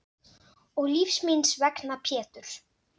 Og lífs míns vegna Pétur.